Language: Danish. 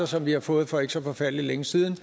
som vi har fået for ikke så forfærdelig længe siden